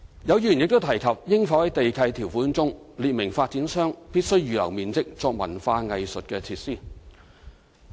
有議員亦提及應否在地契條款中，列明發展商必須預留面積作文化藝術設施。